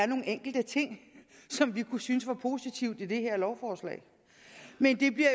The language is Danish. nogle enkelte ting som vi kunne synes var positive i det her lovforslag men de bliver